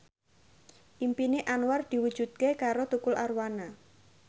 impine Anwar diwujudke karo Tukul Arwana